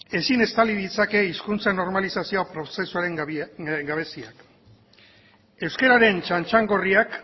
ezin estali ditzake hizkuntza normalizazioa prozesuaren gabeziak euskararen txantxangorriak